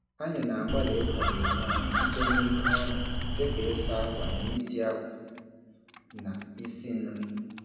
Anyị na-agbalị ịkwado onwe anyị site n'ike ọrụ dị ka ịsa akwa na isi akwa na isi nri.